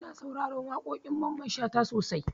Ina sauraren waƙoƙin Mamman Shata sosai